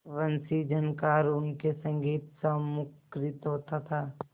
वंशीझनकार उनके संगीतसा मुखरित होता था